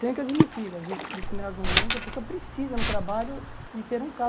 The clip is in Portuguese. Tenho que admitir que às vezes, em determinados momentos, a pessoa precisa no trabalho de ter um